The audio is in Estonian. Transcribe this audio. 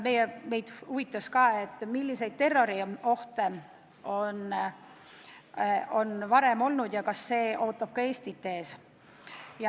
Meid huvitas veel, milliseid terroriohte on varem olnud ja kas see ootab ka Eestit ees.